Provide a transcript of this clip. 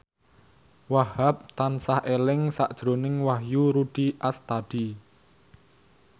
Wahhab tansah eling sakjroning Wahyu Rudi Astadi